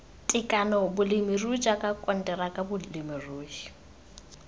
tekano bolemirui jwa konteraka bolemirui